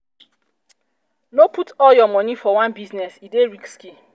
no put all your moni for one business e dey risky.